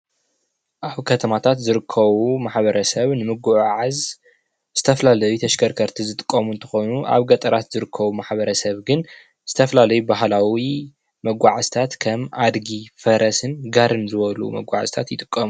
ኣብ ከተማታት ዝርከቡ ማህበረሰብ ንምጉዕዓዝ ዝተፈላለዩ ተሽከርከርቲ ዝጥቀሙ እንትኮኑ ኣብ ገጠር ዝርከቡ ማህበረሰብ ግን ዝተፈላለዩ ባህላዊ መጓዓዕዝታት ከም አድጊ፣ ፈረስን ጋሪን ዝበሉ ይጥቀሙ።